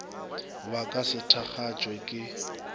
ba ka se thakgatšwe ke